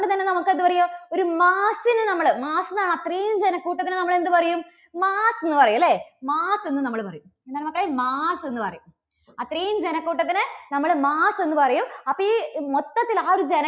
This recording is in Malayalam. അതുകൊണ്ടുതന്നെ നമുക്ക് അതൊരു ഒരു mass ന്ന് നമ്മള് mass എന്നാണ് അത്രയും ജനക്കൂട്ടത്തിന് നമ്മള് എന്തു പറയും? mass എന്നു പറയും അല്ലേ? mass എന്ന് നമ്മള് പറയും. നമുക്ക് mass എന്നു പറയും. അത്രയും ജനക്കൂട്ടത്തിന് നമ്മള് mass എന്ന് പറയും അപ്പോൾ ഈ മൊത്തത്തിൽ ആ ഒരു ജന~